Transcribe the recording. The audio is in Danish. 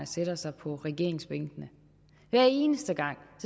sætter sig på regeringsbænkene hver eneste gang